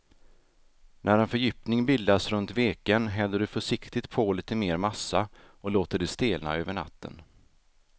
När en fördjupning bildats runt veken häller du försiktigt på lite mer massa och låter det stelna över natten.